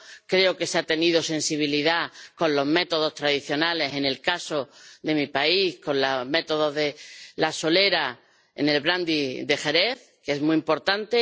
Creo que se ha tenido sensibilidad con los métodos tradicionales en el caso de mi país, con el método de la solera en el brandy de Jerez, que es muy importante.